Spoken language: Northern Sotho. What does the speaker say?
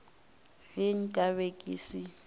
ge nka be ke se